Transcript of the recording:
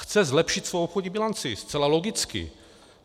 Chce zlepšit svoji obchodní bilanci zcela logicky.